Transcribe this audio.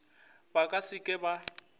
ba ka se ke ba